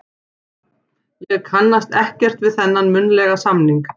Ég kannast ekkert við þennan munnlega samning.